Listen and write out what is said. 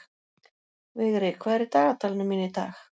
Vigri, hvað er í dagatalinu mínu í dag?